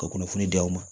Ka kunnafoni di aw ma